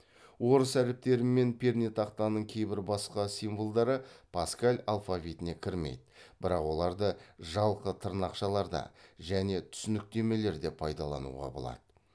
орыс әріптері мен пернетақтаның кейбір басқа символдары паскаль алфавитіне кірмейді бірақ оларды жалқы тырнақшаларда және түсініктемелерде пайдалануға болады